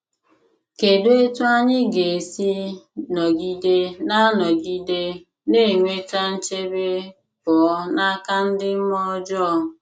Kedụ etú anyị ga esi nọgide na nọgide na - enweta nchebe pụọ n’aka ndị mmụọ ọjọọ?